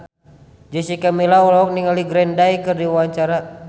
Jessica Milla olohok ningali Green Day keur diwawancara